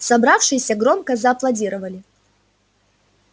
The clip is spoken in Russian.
собравшиеся громко зааплодировали